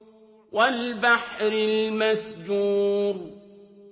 وَالْبَحْرِ الْمَسْجُورِ